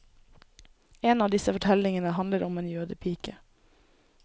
En av disse fortellingene handler om en jødepike.